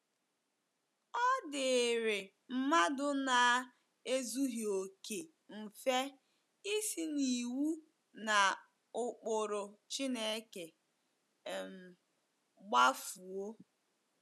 Ọ dịịrị mmadụ na - ezughị okè mfe isi n’iwu na ụkpụrụ Chineke um kpafuo.